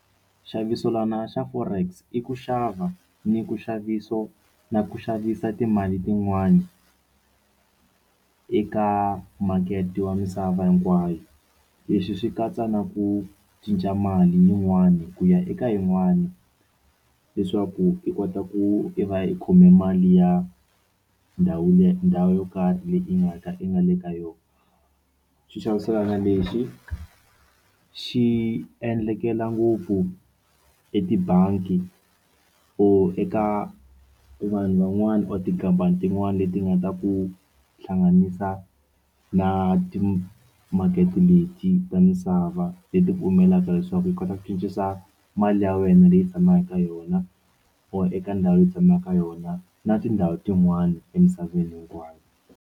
Nxavisolwana xa forex i ku xava ni ku nxaviso na ku xavisa timali tin'wani eka makete wa misava hinkwayo leswi swi katsa na ku cinca mali yin'wani ku ya eka yin'wani leswaku i kota ku i va i khome mali ya ndhawu yo ndhawu yo karhi leyi i nga ka i nga le ka yona xi xaviselana lexi xi endlekela ngopfu etibangi or eka vanhu van'wana or tikhampani tin'wana leti nga ta ku hlanganisa na timakete leti ta misava leti pfumelaka leswaku yi kota ku cincisa mali ya wena leyi tshamaka ka yona or eka ndhawu yo tshama ka yona na tindhawu tin'wani emisaveni hinkwayo.